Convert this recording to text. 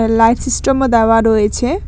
Life সিস্টেমও দেওয়া রয়েছে।